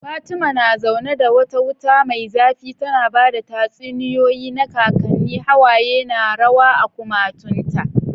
Fatima na zaune da wata wuta mai zafi tana ba da tatsuniyoyi na kakanni, hawaye na rawa a kumatunta.